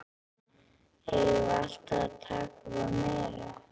Eigum við alltaf að taka að okkur meira?